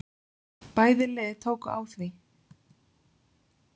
Bæði lið tóku á því.